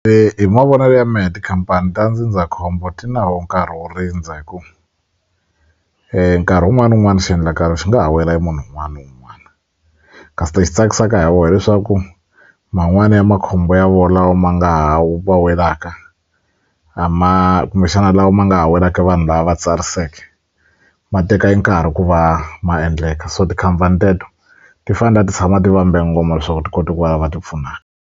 hi mavonelo ya mehe tikhampani ta ndzindzakhombo ti na wo nkarhi wo rindza hi ku nkarhi wun'wani ni wun'wani xiendlakalo xi nga ha wela hi munhu wun'wana ni wun'wana kasi lexi tsakisaka hi wo hileswaku man'wani ya makhombo ya wo lawa ma nga ha va welaka a ma kumbexana lawa ma nga ha welaka vanhu lava va tsariseke ma teka enkarhi ku va ma endleka so tikhampani teto ti fane ti tshama ti vambe ngoma leswaku ti kota ku va va va ti pfuna.